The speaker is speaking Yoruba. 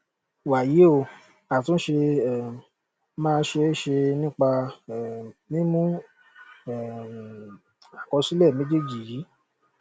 wàyí o àtúnṣe um máa ṣe é ṣe nípa um mímú um àkọsílẹ méjéèjì yìí